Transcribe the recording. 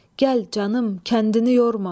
Gəl canım, kəndini yorma!